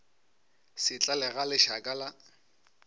se tlale ga lešaka la